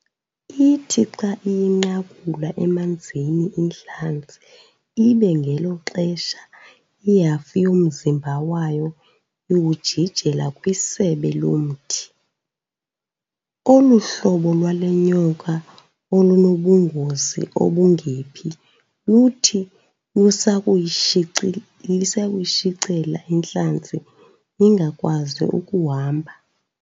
Ithi xa iyinqakula emanzini intlanzi ibe ngelo xesha ihafu yomzimba wayo iwujijela kwisebe lomthi. Olu hlobo lwale nyoka olunobungozi obungephi luthi lusakuyitshicela intlanzi ingakwazi ukuhamba.